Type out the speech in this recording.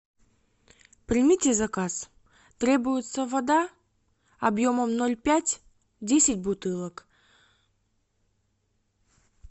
примите заказ требуется вода обьемом ноль пять десять бутылок